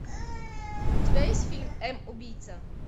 у тебя есть фильм м убийца